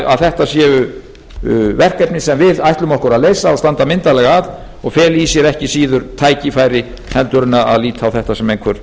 að þetta séu verkefni sem við ætlum okkur að leysa og standa myndarlega að og fela í sér ekki síður tækifæri en að líta á þetta sem einhver